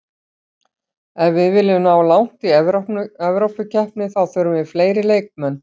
Ef við viljum ná langt í Evrópukeppni þá þurfum við fleiri leikmenn.